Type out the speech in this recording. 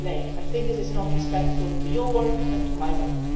I think this is not respectful to your work and to my work.